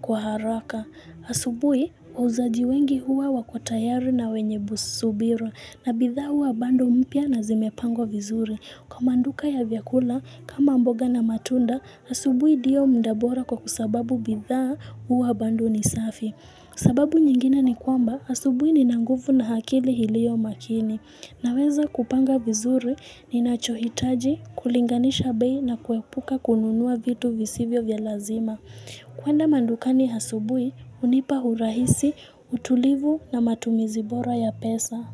kwa haraka. Asubuhi, wauzaji wengi huwa wako tayari na wenye subira. Na bidhaa huwa bado mpya na zimepangwa vizuri. Kwa maduka ya vyakula kama mboga na matunda, asubuhi ndiyo muda bora kwa sababu bidhaa huwa bado ni safi. Sababu nyingine ni kwamba asubuni nina nguvu na akili iliyo makini. Naweza kupanga vizuri ninachohitaji, kulinganisha bei na kuepuka kununua vitu visivyo vya lazima. Kwenda madukani asubuhi hunipa urahisi, utulivu na matumizi bora ya pesa.